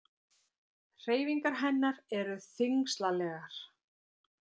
Hreyfingar hennar eru þyngslalegar.